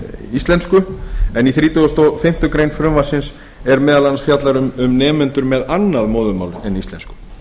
íslensku en í þrítugasta og fimmtu grein frumvarpsins er meðal annars fjallað um nemendur með annað móðurmál en íslensku